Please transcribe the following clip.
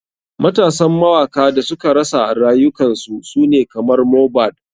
Matasan mawaka da suka rasa rayukan su sune kamar mohbad.